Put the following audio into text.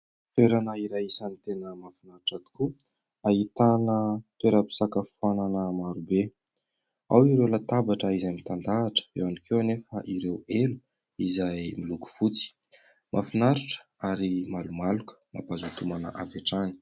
Toerana iray isan'ny tena mahafinaritra tokoa. ahitana toeram-pisakafoanana marobe. Ao ireo latabatra izay mitandahatra, eo ihany koa anefa ireo elo izay miloko fotsy. Mahafinaritra ary malomaloka, mampazoto homana avy hatrany.